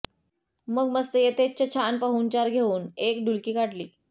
मग मस्त यथेच्च छान पाहुणचार घेवून एक डुलकी काढली